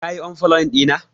ka yi unfollow dina!